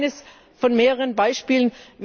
Das ist nur eines von mehreren Beispielen.